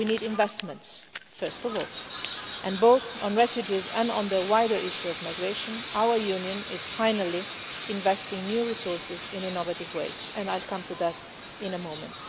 We need investments, first of all, and both on refugees and on the wider issue of migration our Union is finally investing new resources in innovative ways and I will come to that in a moment.